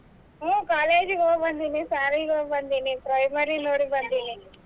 ಹ್ಮ್ college ಹೋಗ್ಬಂದಿನಿ ಶಾಲಿಗ್ ಹೋಗ್ಬಂದಿನಿ primary ನೋಡ್ಬಂದಿನಿ.